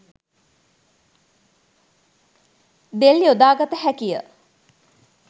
දෙල් යොදා ගත හැකිය